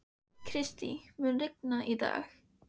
Kristý, mun rigna í dag?